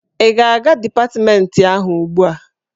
Ị ga-aga dipatmentị ahụ ugbu a!